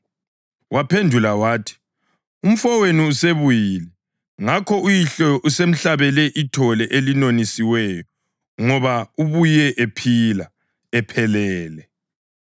Waphendula wathi, ‘Umfowenu usebuyile, ngakho uyihlo usemhlabele ithole elinonisiweyo ngoba ubuye ephilile, ephelele.’